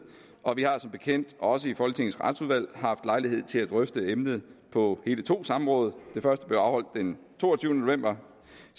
og vi har som bekendt også i folketingets retsudvalg haft lejlighed til at drøfte emnet på hele to samråd det første blev afholdt den toogtyvende november